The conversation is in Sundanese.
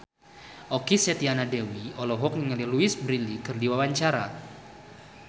Okky Setiana Dewi olohok ningali Louise Brealey keur diwawancara